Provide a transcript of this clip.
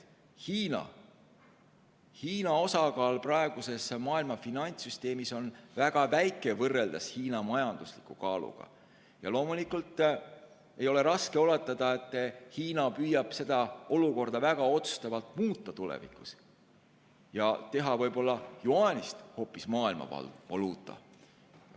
Hiina osakaal praeguses maailma finantssüsteemis on väga väike võrreldes Hiina majandusliku kaaluga ja loomulikult ei ole raske oletada, et Hiina võib püüda seda olukorda tulevikus väga otsustavalt muuta ja teha võib-olla hoopis jüaanist maailmavaluuta.